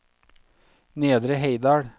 Nedre Heidal